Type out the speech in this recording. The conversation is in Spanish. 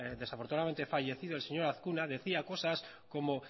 desafortunadamente fallecido el señor azkuna decía cosas como